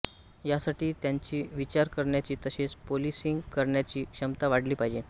यासाठी त्यांची विचार करण्याची तसेच पोलिसिंग करण्याची क्षमता वाढली पाहिजे